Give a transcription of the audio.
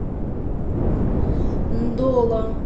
ндола